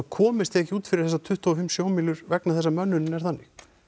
komist ekki út fyrir þessar tuttugu og fimm sjómílur vegna þess að mönnunin er þannig